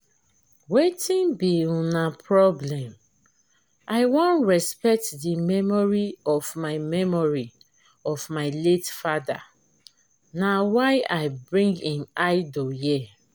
wetin be una problem? i wan respect the memory of my memory of my late father na why i bring im idol here